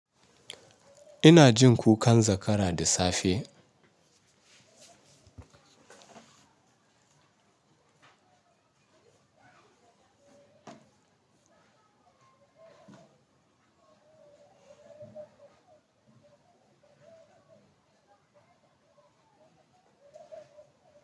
Ina jin kukan zakara da safe.